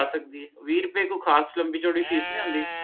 ਆ ਸਕਦੀ ਏ ਵੀਹ ਰੁਪਏ ਕੋਈ ਖਾਸ ਲੰਬੀ ਚੌੜੀ ਫੀਸ ਨਹੀਂ ਹੁੰਦੀ